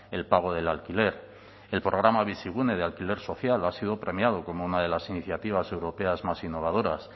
el pago del alquiler el programa bizigune de alquiler social ha sido premiado como una de las iniciativas europeas más innovadoras